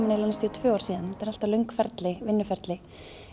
tveimur árum þetta er alltaf langt ferli ferli